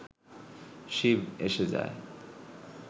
শিব এসে যায়